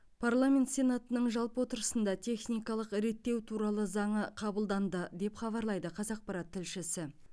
парламент сенатының жалпы отырысында техникалық реттеу туралы заңы қабылданды деп хабарлайды қазақпарат тілшісі